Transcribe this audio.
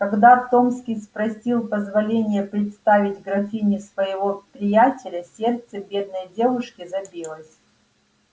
когда томский спросил позволения представить графине своего приятеля сердце бедной девушки забилось